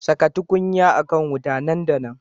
Saka tukunya a kan wuta nan da nan